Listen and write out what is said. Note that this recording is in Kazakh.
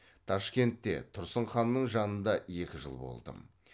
ташкентте тұрсын ханның жанында екі жыл болдым